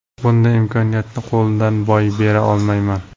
Bunday imkoniyatni qo‘ldan boy bera olmayman.